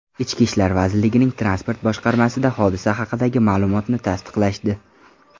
Ichki ishlar vazirligining transport boshqarmasida hodisa haqidagi ma’lumotni tasdiqlashdi.